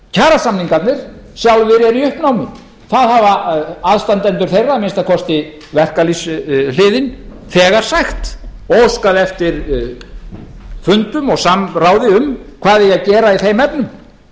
kjarasamningarnir sjálfir eru í uppnámi það hafa aðstandendur þeirra að minnsta kosti verkalýðshliðin þegar sagt og óskað eftir fundum og samráði um hvað eigi að gera í þeim efnum og það er